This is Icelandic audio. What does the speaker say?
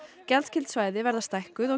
gjaldskyld svæði verða stækkuð og